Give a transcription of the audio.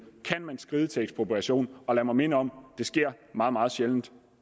kan skride til ekspropriation og lad mig minde om det sker meget meget sjældent